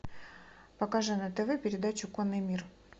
покажи на тв передачу конный мир